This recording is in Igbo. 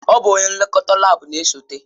Ọ bụ onye nlekọta laabu na-esote.